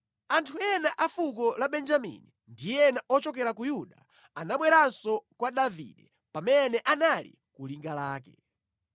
Anthu ena a fuko la Benjamini ndi ena ochokera ku Yuda anabweranso kwa Davide pamene anali ku linga lake.